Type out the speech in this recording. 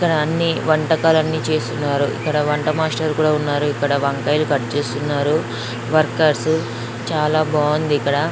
ఇక్కడ అన్ని వంటకాలాన్ని చేసున్నారు ఇక్కడ వంట మాస్టర్ లు కూడా ఉన్నారు. ఇక్కడ వంకాయలు కట్ చేసి ఉన్నారు. వర్కర్స్ చాలా బాగుంది ఇక్కడ.